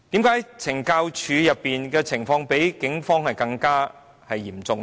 為何懲教署出現濫用私刑的情況比警方嚴重呢？